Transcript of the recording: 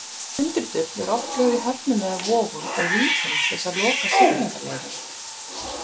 Tundurdufl eru oft lögð í höfnum eða vogum og víkum til þess að loka siglingaleiðum.